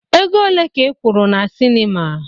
Ego ole ka ị kwụrụ na sinima?